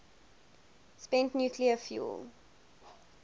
spent nuclear fuel